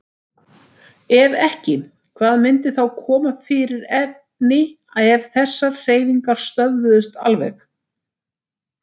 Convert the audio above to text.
Ef ekki, hvað myndi þá koma fyrir efni ef þessar hreyfingar stöðvuðust alveg?